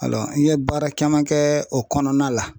an ye baara caman kɛ o kɔnɔna la.